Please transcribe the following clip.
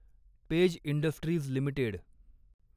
page Industries limited